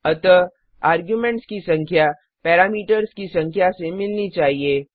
अतः आर्ग्युमेंट्स की संख्या पैरामीटर्स की संख्या से मिलनी चाहिए